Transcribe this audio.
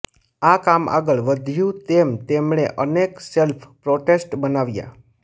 આ કામ આગળ વધ્યું તેમ તેમણે અનેક સેલ્ફ પોટ્રેટ્સ બનાવ્યા